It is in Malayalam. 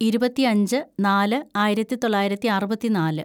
ഇരുപത്തിയഞ്ച് നാല് ആയിരത്തിതൊള്ളായിരത്തി അറുപത്തിനാല്‌